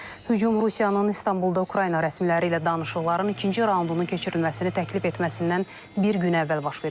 Hücum Rusiyanın İstanbulda Ukrayna rəsmiləri ilə danışıqların ikinci raundunun keçirilməsini təklif etməsindən bir gün əvvəl baş verib.